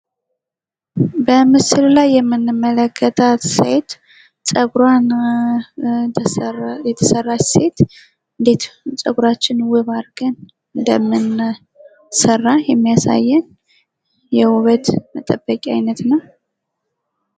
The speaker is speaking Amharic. በምስሉ ላይ የምንመለከታት ሴት ጸጉራን የተሰራች ሴት እንዴት ፀጉራችን ውብ አድርገን እንደምንሰራ የሚያሳየን የውበት መጠበቂያ አይነት ነው።